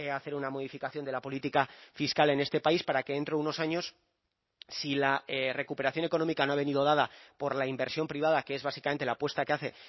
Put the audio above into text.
hacer una modificación de la política fiscal en este país para que dentro de unos años si la recuperación económica no ha venido dada por la inversión privada que es básicamente la apuesta que hace